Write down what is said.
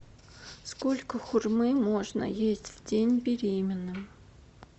сколько хурмы можно есть в день беременным